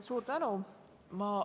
Suur tänu!